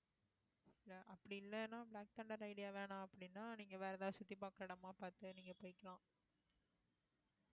அப்படி இல்லைன்னா black thunder idea வேணாம் அப்படின்னா நீங்க வேற ஏதாவது சுத்தி பார்க்கிற இடமா பார்த்து நீங்க போய்க்கலாம்